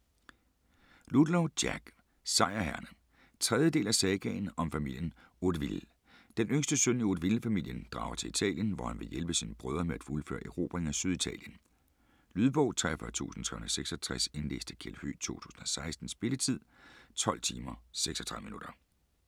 Ludlow, Jack: Sejrherrerne 3. del af Sagaen om familien Hauteville. Den yngste søn i Hauteville-familien drager til Italien, hvor han vil hjælpe sine brødre med at fuldføre erobringen af Syditalien. Lydbog 43366 Indlæst af Kjeld Høegh, 2016. Spilletid: 12 timer, 36 minutter.